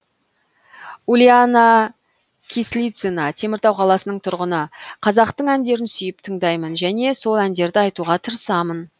ульяна кислицына теміртау қаласының тұрғыны қазақтың әндерін сүйіп тыңдаймын және сол әндерді айтуға тырысамын